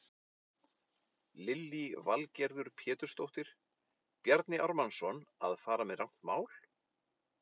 Lillý Valgerður Pétursdóttir: Bjarni Ármannsson að fara með rangt mál?